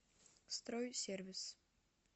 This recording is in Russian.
стройсервис